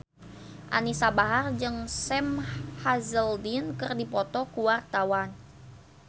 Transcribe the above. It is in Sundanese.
Anisa Bahar jeung Sam Hazeldine keur dipoto ku wartawan